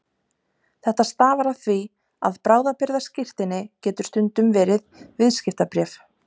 Þetta stafar af því að bráðabirgðaskírteini getur stundum verið viðskiptabréf.